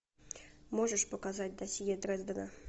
можешь показать досье дрездена